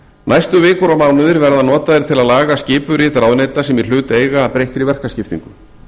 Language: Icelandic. næstu vikur og mánuðir verða notaðir til að laga skipurit ráðuneyta sem í hlut eiga að breyttri verkaskiptingu